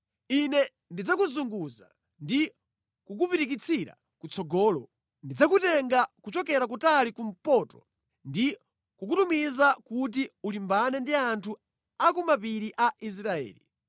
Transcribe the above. Ine ndidzakuzunguza ndi kukupirikitsira kutsogolo. Ndidzakutenga kuchokera kutali kumpoto ndi kukutumiza kuti ukalimbane ndi anthu a ku mapiri a Israeli.